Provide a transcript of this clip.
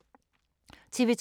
TV 2